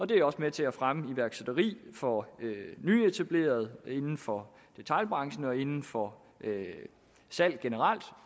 det er også med til at fremme iværksætteri for nyetablerede inden for detailbranchen og inden for salg generelt